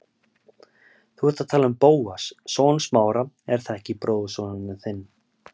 Þú ert að tala um Bóas, son Smára, er það ekki, bróðurson þinn?